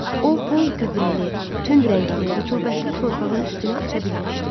O bol gübrəli, tünd rəngli, rütubətli torpağın üstünü aça bilmişdi.